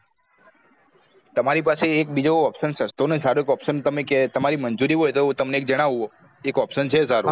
તમારી પાસે એક. બીજો option સસ્તો ને સારો એક option તમને કે તમારી મંજુરી હોય તો તમને જાણવું option છે સારો